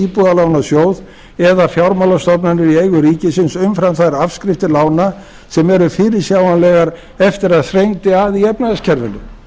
íbúðalánasjóð eða fjármálastofnanir í eigu ríkisins umfram þær afskriftir lána sem eru fyrirsjáanlegar eftir að þrengdi að í efnahagskerfinu